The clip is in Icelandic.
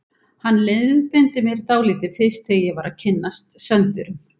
Hann leiðbeindi mér dálítið fyrst þegar ég var að kynnast Söndurum.